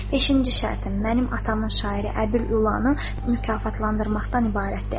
Beşinci şərtim: mənim atamın şairi Əbül Olanı mükafatlandırmaqdan ibarətdir.